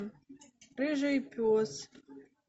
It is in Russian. рыжий пес